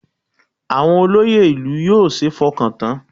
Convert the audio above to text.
Àwọn olóyè ìlú yóò ṣeé fọkàn tán